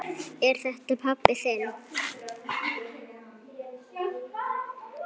Er þetta pabbi þinn?